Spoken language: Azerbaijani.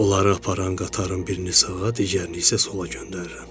Onları aparan qatarın birini sağa, digərini isə sola göndərirəm.